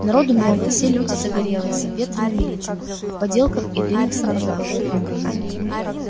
народу много все люди загорелые с обветренными лицами в подделках и длинных сапогах